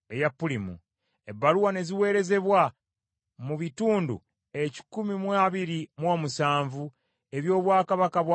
Ebbaluwa ne ziweerezebwa, mu bitundu ekikumi mu abiri mu omusanvu (127) eby’obwakabaka bwa Akaswero,